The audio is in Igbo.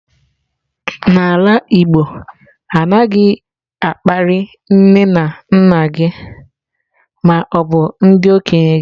n'ala igbo, anaghi akpari nne na nna gi ma obu ndi okenye gi